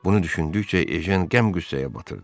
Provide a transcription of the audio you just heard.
Bunu düşündükcə Ejen qəm-qüssəyə batırdı.